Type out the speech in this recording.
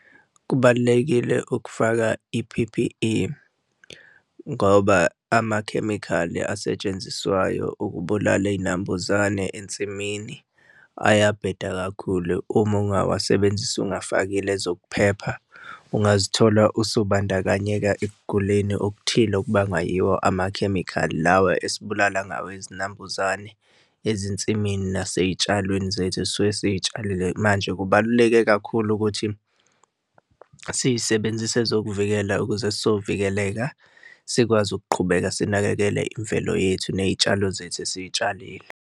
Kubalulekile ukufaka i-P_P_E ngoba amakhemikhali asetshenziswayo ukubulala, iy'nambuzane ensimini ayabheda kakhulu. Uma ungawasebenzisa ungafakile ezokuphepha, ungazithola usubandakanyeka ekuguleni okuthile okubangwa yiwo amakhemikhali lawa esibulala ngawo izinambuzane ezinsimini nasey'tshalweni zethu esisuke siy'tshalile manje kubaluleke kakhulu ukuthi siy'sebenzise ezokuvikela ukuze sovikeleka, sikwazi ukuqhubeka sinakekele imvelo yethu ney'tshalo zethu esiy'tshalile.